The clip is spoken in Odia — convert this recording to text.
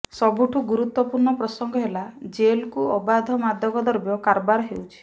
ସବୁଠୁ ଗୁରୁତ୍ୱପୂର୍ଣ୍ଣ ପ୍ରସଙ୍ଗ ହେଲା ଜେଲକୁ ଅବାଧ ମାଦକଦ୍ରବ କାରବାର ହେଉଛି